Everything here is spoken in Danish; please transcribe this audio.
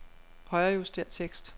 Højrejuster tekst.